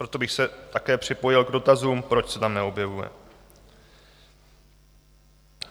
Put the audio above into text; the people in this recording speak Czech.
Proto bych se také připojil k dotazům, proč se tam neobjevuje.